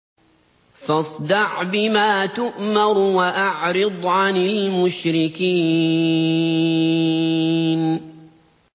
فَاصْدَعْ بِمَا تُؤْمَرُ وَأَعْرِضْ عَنِ الْمُشْرِكِينَ